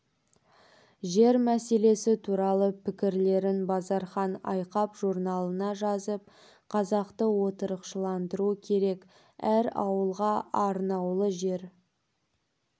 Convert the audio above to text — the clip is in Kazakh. жер мәселесі туралы пікірлерін базархан айқап журналына жазып қазақты отырықшыландыру керек әр ауылға арнаулы жер